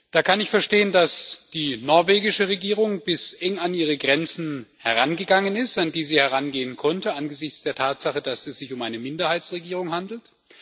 Da kann ich verstehen, dass die norwegische Regierung bis eng an ihre Grenzen herangegangen ist, an die sie herangehen konnte, angesichts der Tatsache, dass es sich um eine Minderheitsregierung handelt.